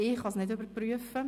Ich kann es nicht überprüfen.